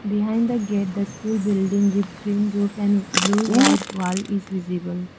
Behind the gate the school building with green roof and blue white wall is visible.